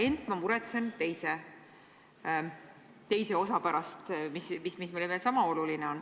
Ent ma muretsen teise osa pärast, mis meile sama oluline on.